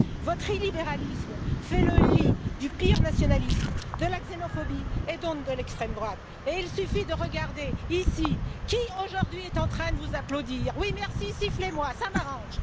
Votre illibéralisme fait le lit du pire nationalisme, de la xénophobie et donc de l'extrême droite, et il suffit de regarder ici qui, aujourd'hui, est en train de vous applaudir. Oui, merci, sifflez moi, cela m'arrange.